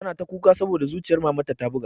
Tana ta kuka saboda zuciyar mamanta ta buga